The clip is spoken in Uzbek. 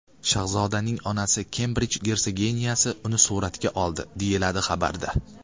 Shahzodaning onasi Kembrij gersoginyasi uni suratga oldi”, deyiladi xabarda.